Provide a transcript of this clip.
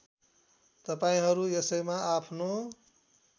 तपाईँहरू यसैमा आफ्नो